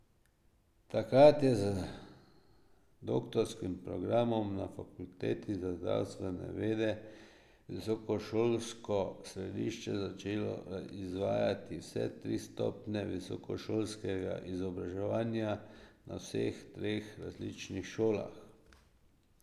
Takrat je z doktorskim programom na fakulteti za zdravstvene vede visokošolsko središče začelo izvajati vse tri stopnje visokošolskega izobraževanja na vsaj treh različnih šolah.